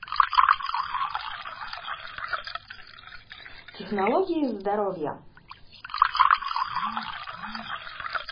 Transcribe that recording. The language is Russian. технологии здоровья